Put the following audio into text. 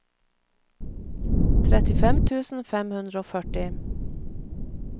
trettifem tusen fem hundre og førti